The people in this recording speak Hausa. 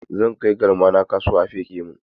Zan kai galmana kasuwa a feƙe min